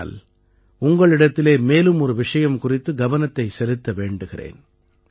ஆனால் உங்களிடத்திலே மேலும் ஒரு விஷயம் குறித்து கவனத்தைச் செலுத்த வேண்டுகிறேன்